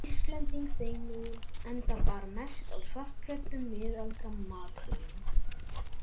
Íslending þeim megin, enda bar mest á svartklæddum, miðaldra matrónum.